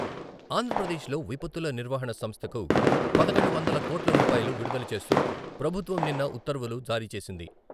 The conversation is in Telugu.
ఆంధ్రప్రదేశ్లో విపత్తుల నిర్వహణ సంస్థకు పదకొండు వందల కోట్ల రూపాయలు విడుదల చేస్తూ ప్రభుత్వం నిన్న ఉత్తర్వులు జారీచేసింది.